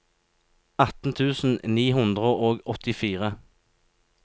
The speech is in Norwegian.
atten tusen ni hundre og åttifire